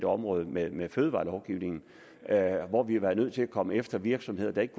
område med med fødevarelovgivningen hvor vi har været nødt til at komme efter virksomheder der ikke